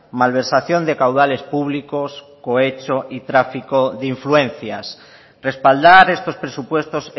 malversación de caudales públicos cohecho y tráfico de influencias respaldar estos presupuestos